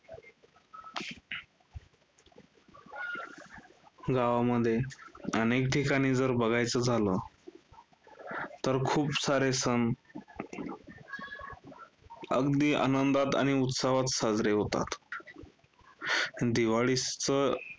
गावामध्ये अनेक ठिकाणी जर बघायचं झालं, तर खूप सारे सण अगदी आनंदात आणि उत्सवात साजरे होतात. दिवाळीच